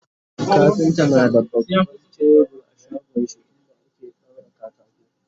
kafinta na da baban tebur a shagonshi inda ake daura katako